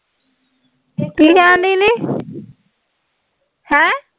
ਕੀ ਕਹਿਣ ਡਈ ਨੀ ਹੈਂ